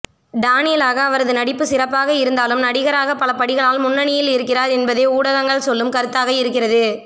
டானியலாக அவரது நடிப்பு சிறப்பாக இருந்தாலும் நடிகராகப் பலபடிகள் லால் முன்னணியில் இருக்கிறார் என்பதே ஊடகங்கள் சொல்லும் கருத்தாக இருக்கிறது